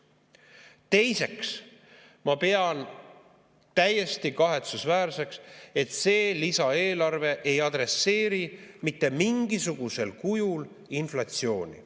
Teiseks, ma pean täiesti kahetsusväärseks, et see lisaeelarve ei adresseeri mitte mingisugusel kujul inflatsiooni.